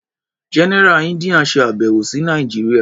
General India ṣe àbẹ̀wò sí Nàìjíría.